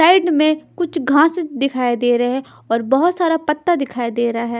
Side में कुछ घास दिखाई दे रहे हैं और बहोत सारा पत्ता दिखाई दे रहा है।